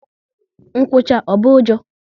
Nkwụcha, ọ bụ ụjọ?